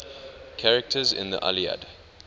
characters in the iliad